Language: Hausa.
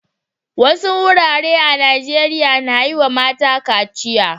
Wasu wurare a Najeriya na yi wa mata kaciya.